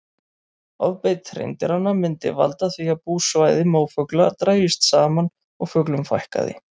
Ofbeit hreindýranna myndi valda því að búsvæði mófugla drægist saman og fuglum fækkaði.